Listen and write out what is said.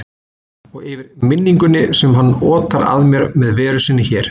Og yfir minningunni sem hann otar að mér með veru sinni hérna.